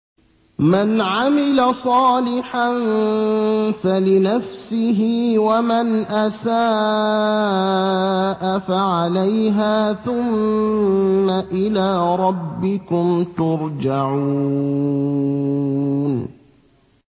مَنْ عَمِلَ صَالِحًا فَلِنَفْسِهِ ۖ وَمَنْ أَسَاءَ فَعَلَيْهَا ۖ ثُمَّ إِلَىٰ رَبِّكُمْ تُرْجَعُونَ